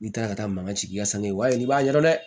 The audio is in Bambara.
N'i taara ka taa mangan sigi i ka sanuya wale i b'a ɲɛ yira dɛ